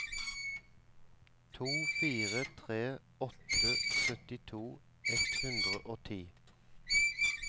to fire tre åtte syttito ett hundre og ti